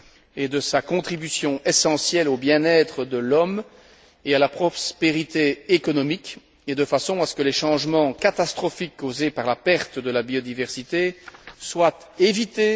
et de sa contribution essentielle au bien être de l'homme et à la prospérité économique, et cela de façon à ce que les changements catastrophiques causés par la perte de la biodiversité soient évités.